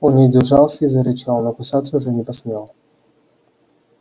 он не удержался и зарычал но кусаться уже не посмел